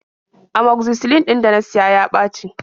Amoxicillin ɗin da na siya ya ɓaci.